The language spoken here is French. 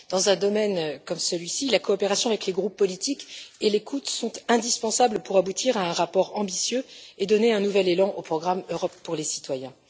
Dans un domaine comme celui ci, la coopération avec les groupes politiques et l'écoute sont indispensables pour aboutir à un rapport ambitieux et donner un nouvel élan au programme L'Europe pour les citoyens.